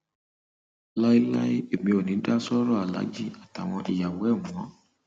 láéláé èmi ò ní í dá sọrọ aláàjì àtàwọn ìyàwó ẹ mọ o